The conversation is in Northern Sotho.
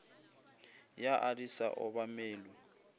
ya a di sa obamelwe